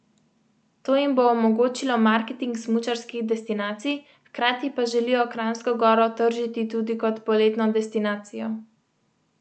To jim bo omogočilo marketing smučarskih destinacij, hkrati pa želijo Kranjsko Goro tržiti tudi kot poletno destinacijo.